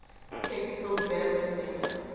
technical development center